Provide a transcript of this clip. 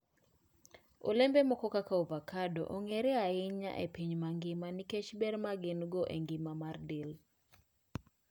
Olembe moko kaka avocado, ong'ere ahinya e piny mangima nikech ber ma gin-go e ngima mar del.